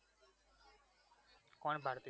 કોણ ભારતી સિંઘ?